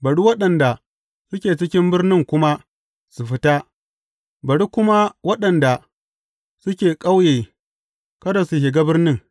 Bari waɗanda suke cikin birnin kuma su fita, bari kuma waɗanda suke ƙauye kada su shiga birnin.